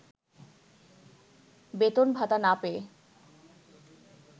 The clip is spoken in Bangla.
বেতন ভাতা না পেয়ে